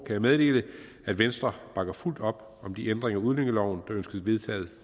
jeg meddele at venstre bakker fuldt op om de ændringer af udlændingeloven der ønskes vedtaget